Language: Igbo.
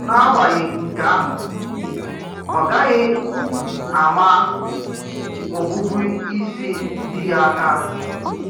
N’àgbàghị̀ nkè àhụ́, ọ gàághì àmà òbùbụísì dì ya àká.